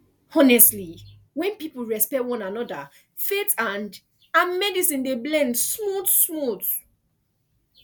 honestly when people respect one another faith and and medicine dey blend smoothsmooth